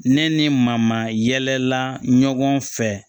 Ne ni mamayɛlɛla ɲɔgɔn fɛ